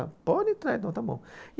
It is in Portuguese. Ela, pode entrar então, está bom.